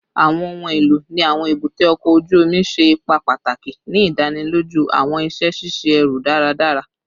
Awọn ohun elo ni awọn ebute oko oju omi ṣe ipa pataki ni idaniloju awọn iṣẹ ṣiṣe ẹru daradara